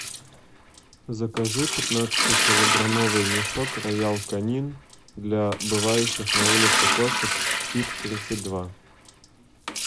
закажи пятнадцати килограммовый мешок роял канин для бывающих на улице кошек фит тридцать два